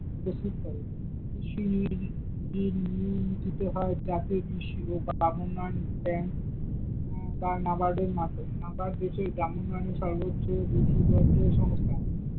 প্রস্তুত করে, কৃষি মূল নীতিতে হয় যাতে কৃষি ও উম বা নাবাদের মাধ্যমে নাবাদ দেশের গ্রাম উন্নয়নে সর্বোচ্চ বিধিবদ্ধ সংস্থা।